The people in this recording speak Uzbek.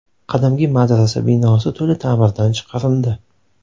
Qadimgi madrasa binosi to‘la ta’mirdan chiqarildi.